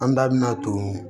An da bina to